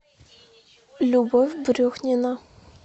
любовь брюхнина